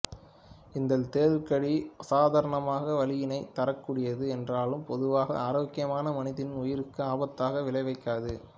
இந்த தேள் கடி அசாதாரணமாக வலியினை தரக்கூடியது என்றாலும் பொதுவாக ஆரோக்கியமான மனிதனின் உயிருக்கு ஆபத்தினை விளைவிக்காது